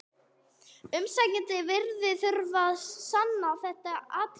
Umsækjandi virðist þurfa að sanna þetta atriði.